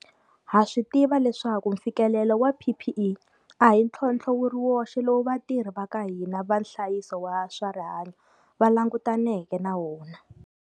Ha swi tiva leswaku mfikelelo wa PPE a hi ntlhontlho wu ri woxe lowu vatirhi va ka hina va nhlayiso wa swa rihanyo va langutaneke na wona.